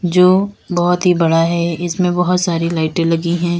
जो बहोत ही बड़ा है इसमें बहोत सारी लाइटे लगी है।